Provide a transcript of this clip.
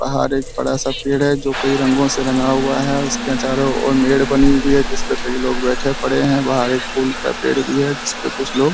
बाहर एक बड़ा सा पेड़ है जो कई रंगो से रंगा हुआ है उसके चारो ओर मेड़ बनी हुई है जिसपे कई लोग बैठे पड़े है बाहर एक फूल का पेड़ भी है जिसपे कुछ लोग